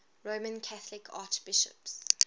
roman catholic archbishops